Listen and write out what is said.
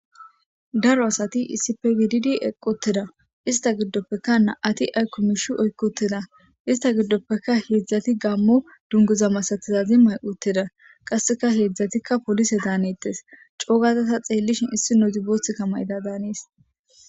Daro asati issipe gididi equtida ista gidopeka nam'ati ayko miisha oykutida ista gidopeka heezati gamo dunguza masatiza mayo mayutides heezatika poolise daanetes coogada ta xeelishin issinozi boothaka daanes.